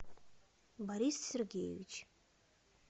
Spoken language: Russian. борис сергеевич